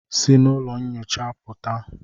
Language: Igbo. Si n'ụlọ nyocha pụta!